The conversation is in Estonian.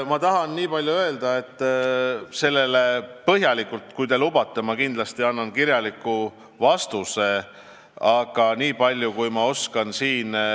Ma tahan nii palju öelda, et kui te lubate, siis ma kindlasti annan teile põhjaliku kirjaliku vastuse.